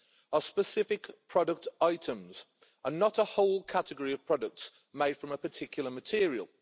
are specific product items and not a whole category of products made from a particular material.